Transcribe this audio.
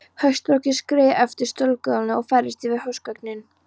Hauströkkrið skreið eftir stofugólfinu og færðist yfir húsgögnin.